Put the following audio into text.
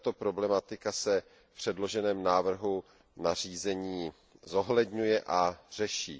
I tato problematika se v předloženém návrhu nařízení zohledňuje a řeší.